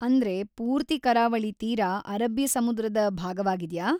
ಅಂದ್ರೆ, ಪೂರ್ತಿ ಕರಾವಳಿ ತೀರ ಅರಬ್ಬೀ ಸಮುದ್ರದ ಭಾಗವಾಗಿದ್ಯಾ?